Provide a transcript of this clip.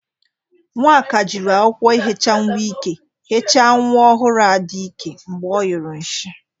Nwaka jiri akwụkwọ ihecha nwa ike hecha nwa ọhụrụ Ada ike mgbe ọ nyụrụ nshi.